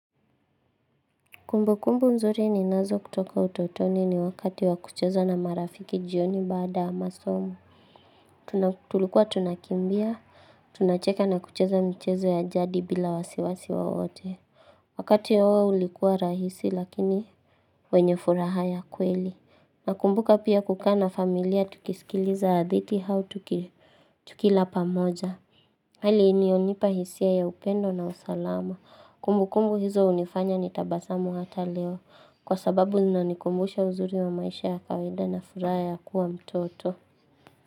Kumbukumbu mzuri ninazo kutoka utotoni ni wakati wakucheza na marafiki jioni baada amasomu. Tulikuwa tunakimbia, tunacheke na kucheza mchezo ya jadi bila wasiwasi wowote. Wakati ya huo ulikuwa rahisi lakini wenye furaha ya kweli. Nakumbuka pia kukaa na familia tukisikiliza hadithi hau tukilapa moja. Hali inionipa hisia ya upendo na usalama. Kumbukumbu hizo unifanya ni tabasamu hata leo. Kwa sababu inanikumbusha uzuri wa maisha ya kawede na furaya ya kuwa mtoto.